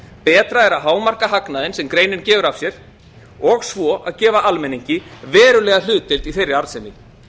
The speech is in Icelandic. arðsemi bætur er að hámarka hagnaðinn sem greinin gefur af sér og svo að gefa almenningi verulega hlutdeild í þeirri arðsemi